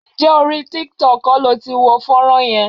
Ǹjẹ́ orí tiktok kọ́ lo ti wo fọ́nrán yẹn?